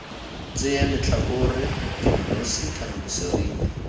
tseye letlhakore kemonosi kana boseriti